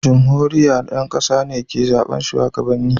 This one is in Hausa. jumhuriya, ƴan ƙasa ne ke zaɓe shugabanni